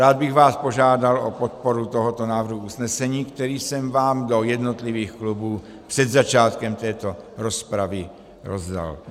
Rád bych vás požádal o podporu tohoto návrhu usnesení, který jsem vám do jednotlivých klubů před začátkem této rozpravy rozdal.